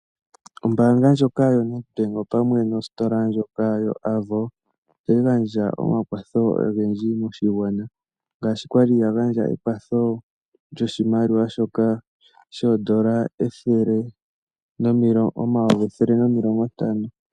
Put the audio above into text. Ombaanga yoNedbank opamwe nositola yoAvo ohayi gandja omakwatho ogendji moshigwana ngaashi kwali ya gandje ekwatho lyoshimaliwa oondola oyovi nomilongo ntano.